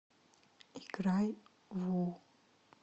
играй ву